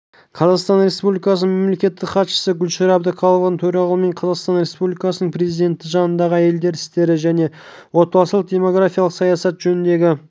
қазақстан республикасының мемлекеттік хатшысы гүлшара әбдіқалықованың төрағалығымен қазақстан республикасының президенті жанындағы әйелдер істері және отбасылық-демографиялық саясат жөніндегі